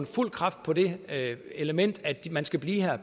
fuld kraft på det element at man skal blive her